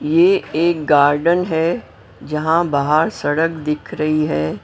ये एक गार्डन है जहां बाहर सड़क दिख रही है।